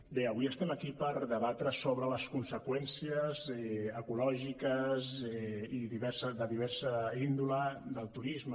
bé avui estem aquí per debatre sobre les conseqüències ecològiques i de diversa índole del turisme